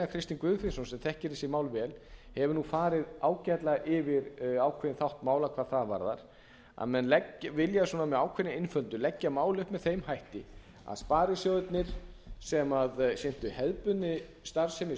kristinn guðfinnsson sem þekkir þessi mál vel hefur farið ágætlega yfir ákveðinn þátt mála hvað það varðar að menn vilja með ákveðinni einföldun leggja mál upp með þeim hætti að sparisjóðirnir sem sinntu hefðbundinni starfsemi